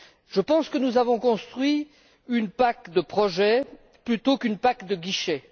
Je pense que nous avons construit une PAC de projets plutôt qu'une PAC de guichets.